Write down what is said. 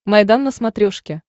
майдан на смотрешке